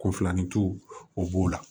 Ko filanincu o b'o la